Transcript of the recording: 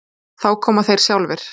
Þá koma þeir sjálfir.